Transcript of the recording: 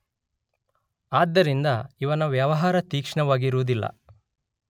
ಆದ್ದರಿಂದ ಇವನ ವ್ಯವಹಾರ ತೀಕ್ಷ್ಣವಾಗಿರುವುದಿಲ್ಲ.